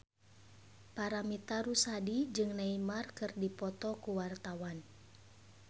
Paramitha Rusady jeung Neymar keur dipoto ku wartawan